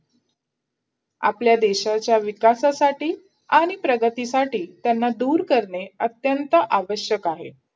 आपल्या देशाच्या विकासासाठी आणि प्रगतीसाठी त्यांना दूर करणे अत्यंत आवश्यक आहे.